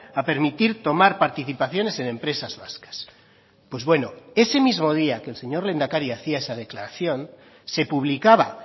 a permitir tomar participaciones en empresas vascas pues bueno ese mismo día que el señor lehendakari hacía esa declaración se publicaba